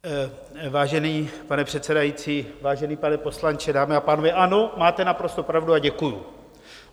Vážený pane předsedající, vážený pane poslanče, dámy a pánové, ano, máte naprosto pravdu a děkuji.